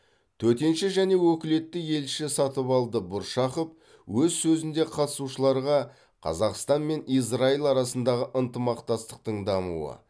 төтенше және өкілетті елші сатыбалды бұршақов өз сөзінде қатысушыларға қазақстан мен израиль арасындағы ынтымақтастықтың дамуы